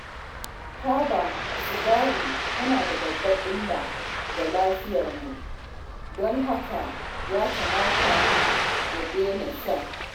Taba sigari tana da babbar illa ga lafiyarmu, don haka ya kamata mu daina sha.